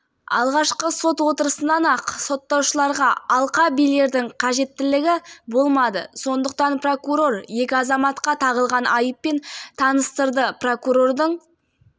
соң ұйықтап қалған қайта тұрып ертеңгісіне жәбірленушінің мәйітін сырттағы әжетханаға басымен тастаған қазіргі таңда екі